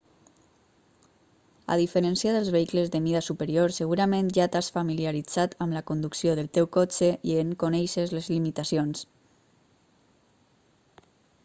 a diferència dels vehicles de mida superior segurament ja t'has familiaritzat amb la conducció del teu cotxe i en coneixes les limitacions